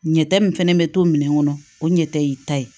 Ɲɛta min fɛnɛ bɛ to minɛn kɔnɔ o ɲɛ tɛ y'i ta ye